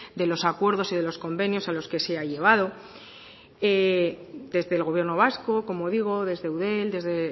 de los acuerdos y de los convenios a los que se ha llegado desde el gobierno vasco como digo desde eudel desde